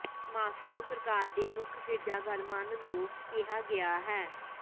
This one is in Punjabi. ਮਾਸ੍ਕੋ ਸਰਕਾਰ ਦੇ ਮੁੱਖ ਗਿਰਜਾਘਰ ਮੰਨ ਲਓ ਕਿਹਾ ਗਿਆ ਹੈ